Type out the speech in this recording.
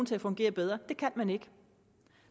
til at fungere bedre det kan man ikke